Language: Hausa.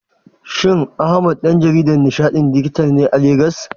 Shin Ahmad ɗan jaridan nishaɗin dijital ne a Legas?